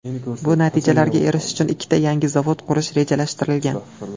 Bu natijalarga erishish uchun ikkita yangi zavod qurish rejalashtirilgan.